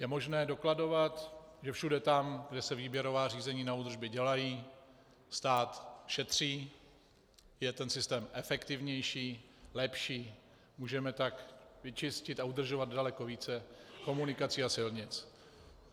Je možné dokladovat, že všude tam, kde se výběrová řízení na údržby dělají, stát šetří, je ten systém efektivnější, lepší, můžeme tak vyčistit a udržovat daleko více komunikací a silnic.